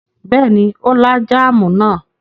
Bẹ́ẹ̀ ni, ó lá jáámù náà.